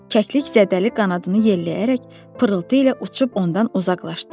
Kəklik zədəli qanadını yelləyərək pırıltı ilə uçub ondan uzaqlaşdı.